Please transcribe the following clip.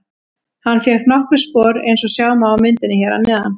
Hann fékk nokkur spor eins og sjá má á myndinni hér að neðan.